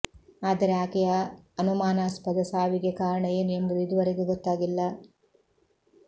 ಆದರೆ ಆಕೆಯ ಅನುಮಾನಾಸ್ಪದ ಸಾವಿಗೆ ಕಾರಣ ಏನು ಎಂಬುದು ಇದುವರೆಗೂ ಗೊತ್ತಾಗಿಲ್ಲ